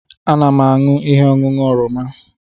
Ana m aṅụ ihe ọṅụṅụ oroma